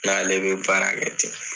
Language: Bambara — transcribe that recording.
N' ale bɛ baarakɛ ten